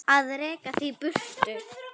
Að reka þig í burtu!